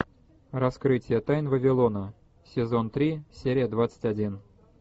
раскрытие тайн вавилона сезон три серия двадцать один